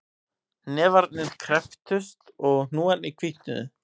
Hnefarnir krepptust og hnúarnir hvítnuðu